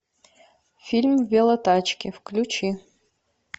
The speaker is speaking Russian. фильм велотачки включи